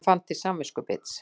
Hann fann til samviskubits.